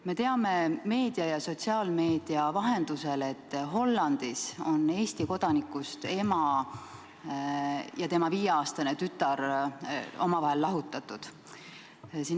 Me teame meedia ja sotsiaalmeedia vahendusel, et Hollandis on Eesti kodanikust ema ja tema viieaastane tütar teineteisest lahutatud.